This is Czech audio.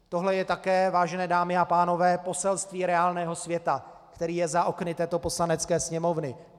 Tohle je také, vážené dámy a pánové, poselství reálného světa, který je za okny této Poslanecké sněmovny.